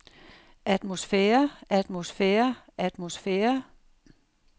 atmosfære atmosfære atmosfære